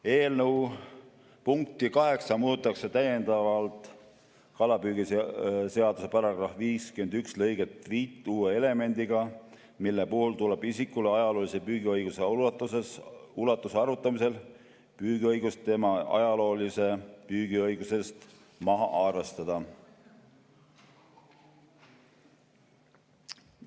Eelnõu punkti 8 muudatusega täiendatakse vastavalt kalapüügiseaduse § 51 lõiget 5 uue elemendiga, mille puhul tuleb isikule ajaloolise püügiõiguse ulatuse arvutamisel püügiõigust tema ajaloolisest püügiõigusest maha arvestada.